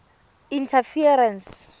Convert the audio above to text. interference